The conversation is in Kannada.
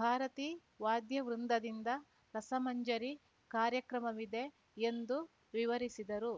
ಭಾರತೀ ವಾದ್ಯ ವೃಂದದಿಂದ ರಸಮಂಜರಿ ಕಾರ್ಯಕ್ರಮವಿದೆ ಎಂದು ವಿವರಿಸಿದರು